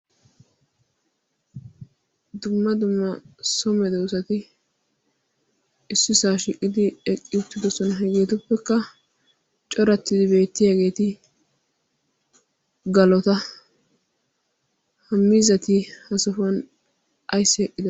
dumma dumma somedoosati issi saa shiiqqidi eqqi uttidosona hegeetuppekka corattidi beettiyaageeti galota ha miizati ha sohuwan ayssi eqqido ...